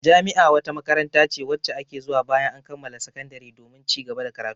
Jami'a wata makaranta ce wacce ake zuwa bayan an kammala sakandare domin cigaba da karatu.